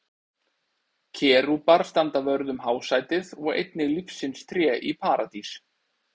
Kerúbar standa vörð um hásætið og einnig lífsins tré í Paradís.